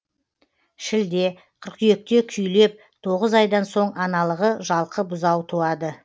шілде қыркүйекте күйлеп тоғыз айдан соң аналығы жалқы бұзау туады